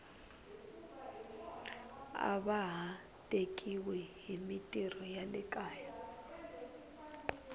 ava ha tekiwi himitirho ya le kaya